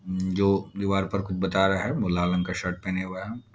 जो दीवाल पे कुछ बता रहा है वो लाल रंग का शर्ट पहने हुआ है।